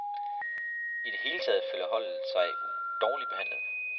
I det hele taget føler holdet sig dårligt behandlet.